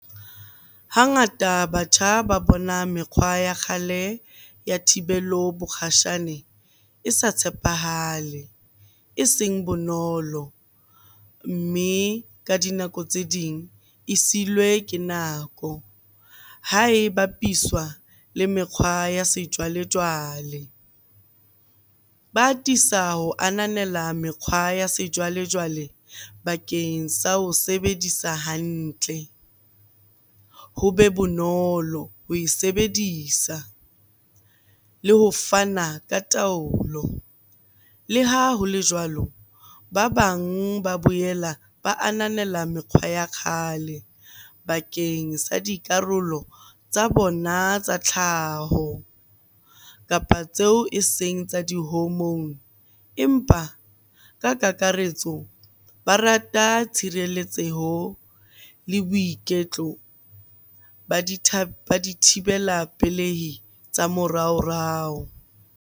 Hangata batjha ba bona mekgwa ya kgale ya thibelo bokgashane e sa tshepahale, eseng bonolo. Mme ka dinako tse ding e silwe ke nako ha e bapiswa le mekgwa ya sejwalejwale. Ba atisa ho ananela mekgwa ya sejwalejwale bakeng sa ho sebedisa hantle, ho be bonolo ho e sebedisa le ho fana ka taolo. Le ha ho le jwalo, ba bang ba boela ba ananela mekgwa ya kgale bakeng sa dikarolo tsa bona tsa tlhaho kapa tseo eseng tsa di-hormone. Empa ka kakaretso, ba rata tshireletseho le boiketlo ba dithibela pelehi tsa moraorao.